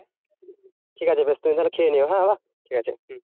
ঠিকাছে বেশ তুমি তাহলে খেয়ে নিও হ্যাঁ ঠিকাছে হম